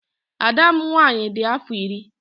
Ada m nwaanyị di afọ iri.